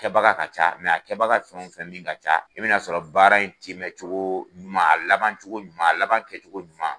Kɛbaga ka ca mɛ a kɛbaga fɛn o fɛn min ka ca i bi n'a sɔrɔ baara in timɛ cogoo ɲuman a laban cogo ɲuman la aban kɛcogo ɲuman